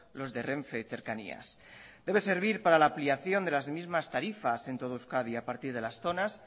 los de renfe y cercanías debe servir para la ampliación de las mismas tarifas en todo euskadi a partir de las zonas